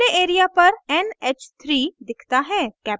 display area पर nh